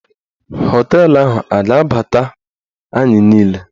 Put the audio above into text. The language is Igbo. Họteelụ ahụ a ga-abata anyị niile?